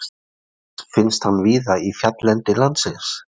Annars finnst hann víða í fjalllendi landsins.